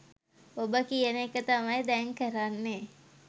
ඔබ කියන එක තමයි දැන් කරන්නේ